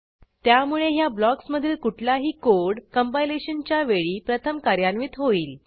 त्यामुळे ह्या ब्लॉक्समधील कुठलाही कोड कंपायलेशनच्या वेळी प्रथम कार्यान्वित होईल